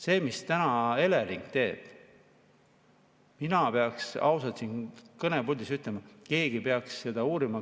See, mida täna Elering teeb, ma pean ausalt siin kõnepuldis ütlema, seda peaks keegi uurima.